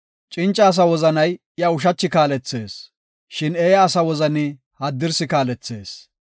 Cinca asa wozanay iya ushachi kaalethees; shin eeya asa wozani haddirsi kaalethees.